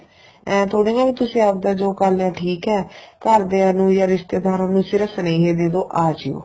ਇਹ ਥੋੜੀ ਨਾ ਵੀ ਤੁਸੀ ਆਪਦਾ ਜੋ ਕਰ ਲਿਆ ਠੀਕ ਏ ਘਰ ਦੀਆਂ ਨੂੰ ਜਾਂ ਰਿਸ਼ਤੇਦਾਰਾ ਨੂੰ ਸਿਰਫ ਸਨੇਹੇ ਦੇਦੋ ਅਜਿਉ